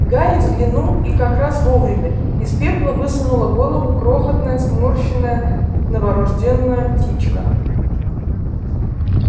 гарри взглянул и как раз вовремя из пепла высунула голову крохотная сморщенная новорождённая птичка